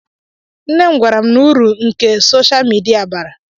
Nne m gwara m uru nke sosha midia bara